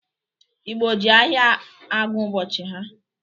Igbọ jị ahịa agụ ụbọchị ha.